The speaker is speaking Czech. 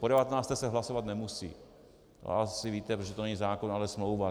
Po 19. se hlasovat nemusí, to asi víte, protože to není zákon, ale smlouva.